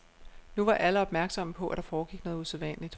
Nu var alle opmærksomme på, at der foregik noget usædvanligt.